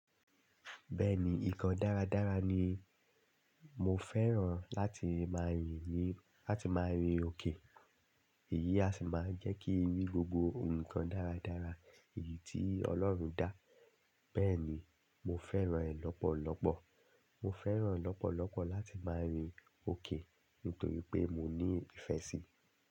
Bẹ́ẹ̀ni nǹkan dáradára ni. Mo fẹ́ràn láti máa yìn ni láti máa rin òkè. Èyí a sì máa jẹ́ kí n rí gbogbo nǹkan dáradára èyí tí Ọlọ́run dá. Bẹ́ẹ̀ni mo fẹ́ràn ẹ́ lọ́pọ̀lọ́pọ̀. Mo fẹ́ràn lọ́pọ̀lọ́pọ̀ láti máa rin òkè nítorí pé mo ní ìfẹ́ sí i.